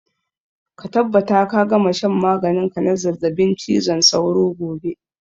Ka tabbata ka gama shan maganin ka na zazzabin cizon sauro gobe!